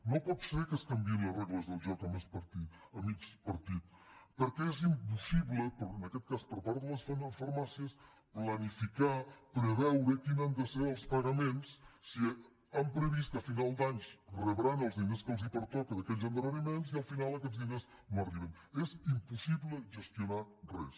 no pot ser que es canviïn les regles del joc a mig partit perquè és impossible en aquest cas per part de les farmàcies planificar preveure quins han de ser els pagaments si han previst que a finals d’any rebran els diners que els pertoca d’aquells endarreriments i al final aquests diners no arriben és impossible gestionar res